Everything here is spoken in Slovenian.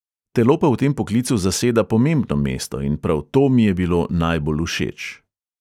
Telo pa v tem poklicu zaseda pomembno mesto in prav to mi je bilo najbolj všeč.